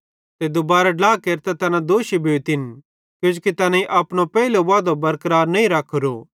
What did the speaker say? दुबारां ड्ला केरतां तैना दोषी भोतिन किजोकि तैनेईं अपनो पेइलो वादो बरकरार नईं रखोरो